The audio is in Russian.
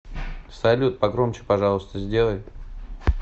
салют погромче пожалуйста сделай